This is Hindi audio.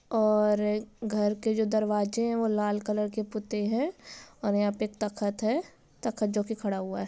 और घर के जो दरवाजे है और लाल कलर के पुते हैं और यहां पर तखत है तखत जो कि खड़ा हुआ है।